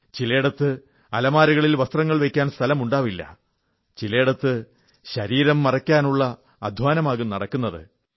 ചിലയിടത്ത് അലമാരകളിൽ വസ്ത്രങ്ങൾ വയ്ക്കാൻ സ്ഥലമുണ്ടാവില്ല ചിലയിടത്ത് ശരീരം മറയ്ക്കാനുള്ള അധ്വാനമാകും നടക്കുന്നത്